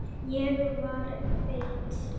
Ég var feit.